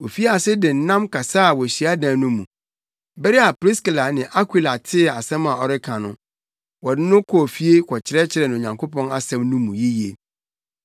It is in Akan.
Ofii ase de nnam kasaa wɔ hyiadan no mu. Bere a Priskila ne Akwila tee asɛm a ɔreka no, wɔde no kɔɔ fie kɔkyerɛkyerɛ no Onyankopɔn asɛm no mu yiye.